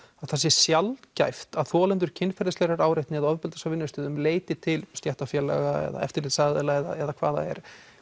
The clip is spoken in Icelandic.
að það sé sjaldgæft að þolendur kynferðislegrar áreitni eða ofbeldis á vinnustað leiti til stéttarfélaga eða eftirlitsaðila eða hvað það er